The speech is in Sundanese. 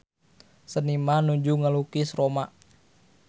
Seniman nuju ngalukis Roma